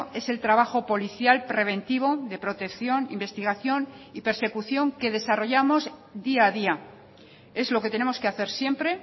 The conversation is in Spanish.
es el trabajo policial preventivo de protección investigación y persecución que desarrollamos día a día es lo que tenemos que hacer siempre